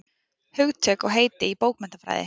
Hugtök og heiti í bókmenntafræði.